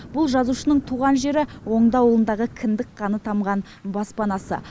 бұл жазушының туған жері оңды ауылындағы кіндік қаны тамған баспанасы